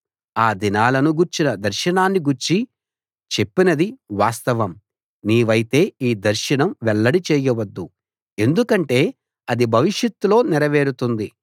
ఆ దినాలను గూర్చిన దర్శనాన్ని గూర్చి చెప్పినది వాస్తవం నీవైతే ఈ దర్శనం వెల్లడి చేయవద్దు ఎందుకంటే అది భవిషత్తులో నెరవేరుతుంది